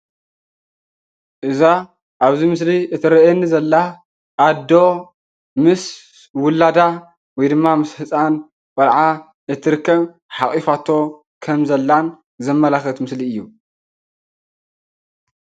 እዛ ኣብ እዚ ምስሊ እትረአየኒ ዘላ ኣዶ ምስ ውላዳ ወይ ድማ ምስ ህፃን ቆልዓ እትርከብ ሓቑፋቶ ከም ዘላን ዘመላክት ምስሊ እዩ፡፡